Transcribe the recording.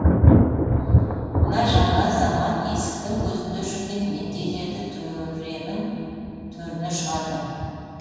мына жаңа заман есіктің көзінде жүрген мендейлерді төренің төріне шығарды